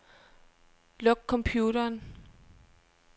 Luk computeren.